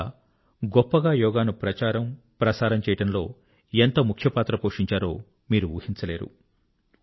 వారంతా ఎంత గొప్పగా యోగా ను ప్రచారముప్రసారము చేయడంలో ఎంత ముఖ్య పాత్ర పోషించారో మీరు ఊహించలేరు